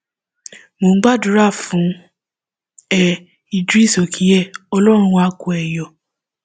mò ń gbádùá fún ẹ ìdris òkínyẹ ọlọrun àá kó ẹ yọ